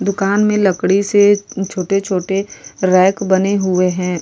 दुकान में लकड़ी से छोटे छोटे रॅक बने हुए है।